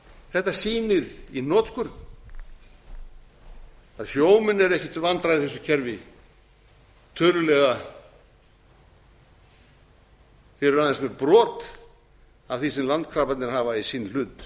þetta sýnir í hnotskurn að sjómenn eru ekki til vandræða í þessu kerfi tölulega fyrir aðeins þau brot af því sem landkrabbarnir hafa í sinn hlut